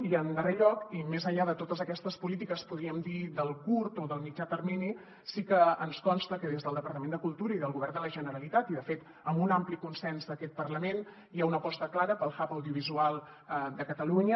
i en darrer lloc i més enllà de totes aquestes polítiques podríem dir del curt o del mitjà termini sí que ens consta que des del departament de cultura i del govern de la generalitat i de fet amb un ampli consens d’aquest parlament hi ha una aposta clara pel hub audiovisual de catalunya